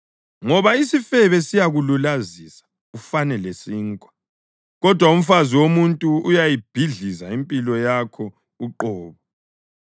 Ngoba isifebe siyakululazisa ufane lesinkwa, kodwa umfazi womuntu uyayibhidliza impilo yakho uqobo.